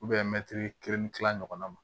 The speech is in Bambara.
mɛ mɛtiri kelen ni tila ɲɔgɔnna ma